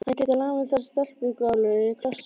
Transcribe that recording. Hann gæti lamið þessa stelpugálu í klessu.